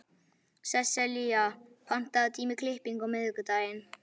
Sesselía, pantaðu tíma í klippingu á miðvikudaginn.